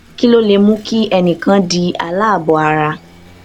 kí ló lè mú kí ẹnì kan di aláàbò ara